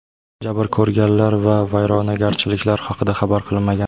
Jabr ko‘rganlar va vayronagarchiliklar haqida xabar qilinmagan.